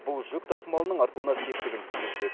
бұл жүк тасымалының артуына септігін тигізбек